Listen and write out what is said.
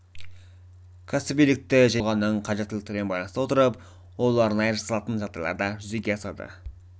кәсібилікті жеке тұлғаның қажеттіліктерімен байланыстыра отырып ол арнайы жасалатын жағдайларда жүзеге асады